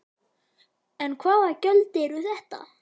En hvaða gjöld eru þetta?